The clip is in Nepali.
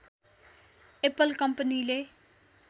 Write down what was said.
एप्पल कम्पनीले